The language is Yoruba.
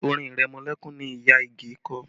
Orin ìrẹmọlẹ́kún ni ìyá Ige kọ